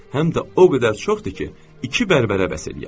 Həm də o qədər çoxdur ki, iki bərbərə bəs eləyər.